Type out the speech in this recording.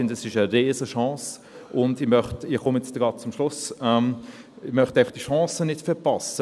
Ich finde, es ist eine Riesenchance, und ich möchte – ich komme jetzt gleich zum Schluss – diese Chance einfach nicht verpassen.